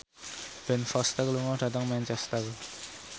Ben Foster lunga dhateng Manchester